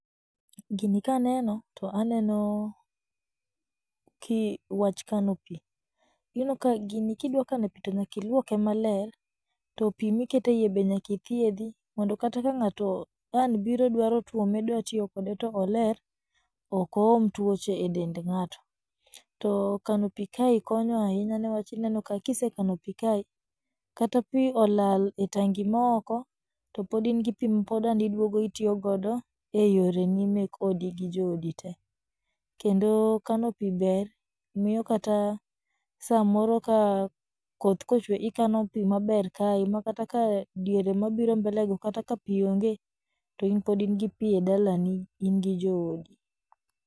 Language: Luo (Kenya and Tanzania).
Gini kaneno, to aneno ki wach kano pii, ineno ka gini kidwakano pii nyaka iluoke maler, to pii miketeiye be nyakithiedhi mondo kata ka ng'ato an biro dwaro twome dwatiyo kode to oler, okooma twoche e dend ng'ato, to kanopii ka konyo ahinya niwach ineno ka kisekano pii kae, kata pii olal e tangi maoko, to podingi pii ma podaniduogo itiyogodo e yoreni mek odi gi jogi tee, kendo kano pii ber, miyo kata samoro ka koth kochwe ikano pii maber kae ma kata ka diere mabiro mbele go kata ka pii onge to in podingi pii e dalani ingi joodi.